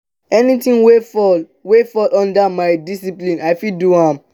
anything wey fall wey fall under my discipline i fit do am.